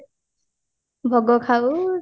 ଭୋଗ ଖାଉ